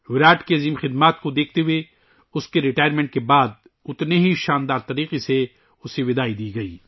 وراٹ کی بے پناہ خدمات کو دیکھتے ہوئے ، اس کے ریٹائرمنٹ کے بعد ، اسے اتنے ہی شاندار انداز میں الوداع کیا گیا